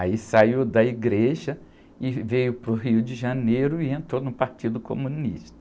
Aí saiu da igreja e veio para o Rio de Janeiro e entrou no Partido Comunista.